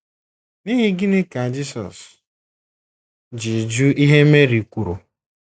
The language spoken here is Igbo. N’ihi gịnị ka Jisọs ji jụ ihe Meri kwuru?